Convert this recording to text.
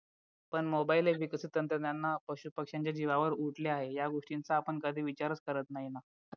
पण mobile हे विकसित तंत्रज्ञान ना पशु पक्षांच्या जीवावर उठले आहे या गोष्टींचा आपण कधी विचारच करत नाही ना